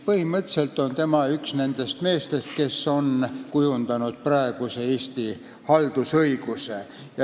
Tema on üks nendest meestest, kes on kujundanud praeguse Eesti haldusõiguse.